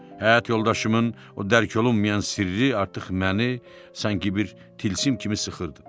Həyat yoldaşımın o dərk olunmayan sirri artıq məni sanki bir tilsim kimi sıxırdı.